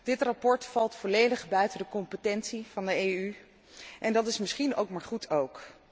Dit verslag valt volledig buiten te competentie van de EU en dat is misschien maar goed ook.